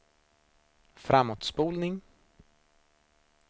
framåtspolning